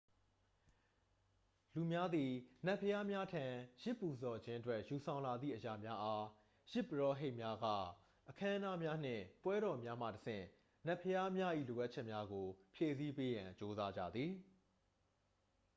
လူများသည် နတ်ဘုရားများထံ ယဇ်ပူဇော်ခြင်းအတွက်ယူဆောင်လာသည့်အရာများအား ယဇ်ပုရောဟိတ်များက အခမ်းအနားများနှင့်ပွဲတော်များမှတဆင့်နတ်ဘုရားများ၏လိုအပ်ချက်များကိုဖြည့်ဆည်းပေးရန်ကြိုးစားကြသည်